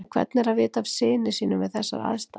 En hvernig er að vita af syni sínum við þessar aðstæður?